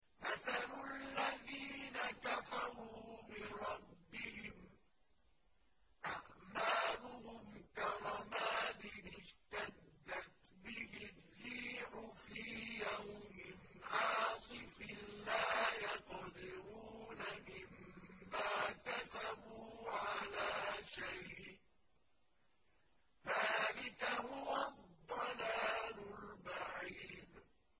مَّثَلُ الَّذِينَ كَفَرُوا بِرَبِّهِمْ ۖ أَعْمَالُهُمْ كَرَمَادٍ اشْتَدَّتْ بِهِ الرِّيحُ فِي يَوْمٍ عَاصِفٍ ۖ لَّا يَقْدِرُونَ مِمَّا كَسَبُوا عَلَىٰ شَيْءٍ ۚ ذَٰلِكَ هُوَ الضَّلَالُ الْبَعِيدُ